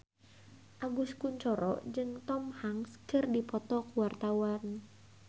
Agus Kuncoro jeung Tom Hanks keur dipoto ku wartawan